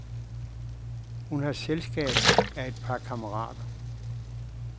Hun har selskab af et par kammerater.